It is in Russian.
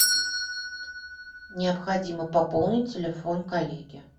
необходимо пополнить телефон коллеге